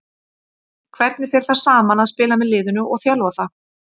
Hvernig fer það saman að spila með liðinu og þjálfa það?